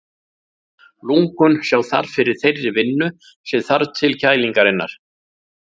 Lungun sjá þar fyrir þeirri vinnu sem þarf til kælingarinnar.